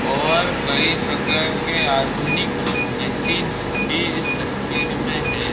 और कई प्रकार के आधुनिक मशीनस भी इस तस्वीर में है।